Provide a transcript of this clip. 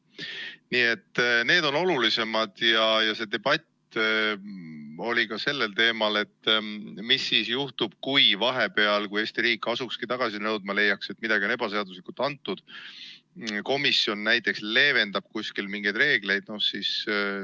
Nii et need on olulisemad teemad, aga debatt oli ka sellel teemal, mis juhtub siis, kui Eesti riik asukski tagasi nõudma, olles leidnud, et midagi on ebaseaduslikult antud, näiteks on komisjon kuskil mingeid reegleid leevendanud.